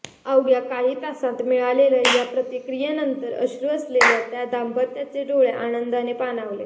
अवघ्या काही तासांत मिळालेल्या या प्रतिक्रियेनंतर अश्रू असलेल्या त्या दाम्पत्याचे डोळे आनंदाने पाणावले